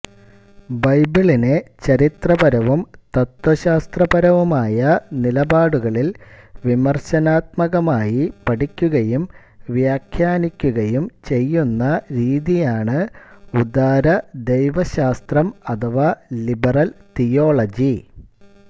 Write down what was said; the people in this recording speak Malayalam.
ബൈബിളിനെ ചരിത്രപരവും തത്ത്വശാസ്ത്രപരവുമായ നിലപാടുകളിൽ വിമർശനാത്മകമായി പഠിക്കുകയും വ്യാഖ്യാനിക്കുകയും ചെയ്യുന്ന രീതിയാണ് ഉദാരദൈവശാസ്ത്രം അഥവാ ലിബറൽ തിയോളജി